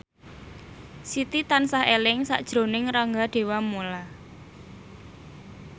Siti tansah eling sakjroning Rangga Dewamoela